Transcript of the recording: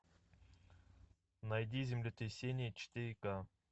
найди землетрясение четыре к